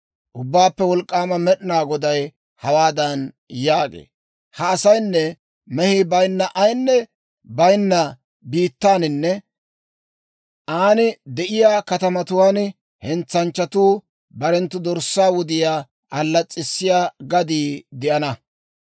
Ubbaappe Wolk'k'aama Med'inaa Goday hawaadan yaagee; «Ha asaynne mehii bayinna ayinne baynna biittaaninne an de'iyaa katamatuwaan hentsanchchatuu barenttu dorssaa wudiyaa allas's'issiyaa gadii de'ana.